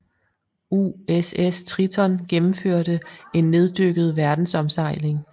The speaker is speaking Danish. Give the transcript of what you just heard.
USS Triton gennemførte en neddykket verdensomsejling